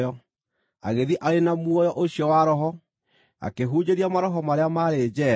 agĩthiĩ arĩ na muoyo ũcio wa Roho akĩhunjĩria maroho marĩa maarĩ njeera,